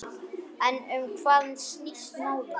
En um hvað snýst málið?